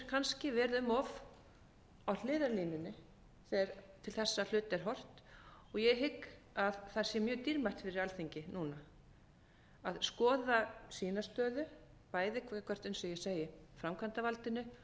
kannski verið um of á hliðarlínunni þegar til þessara hluta er horft og ég hygg að það sé mjög dýrmætt fyrir alþingi núna að skoða sína stöðu bæði gagnvart eins og ég segi framkvæmdarvaldinu